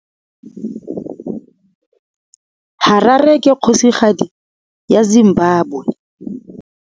Harare ke kgosigadi ya Zimbabwe.